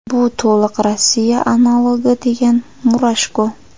Bu to‘liq Rossiya analogi”, degan Murashko.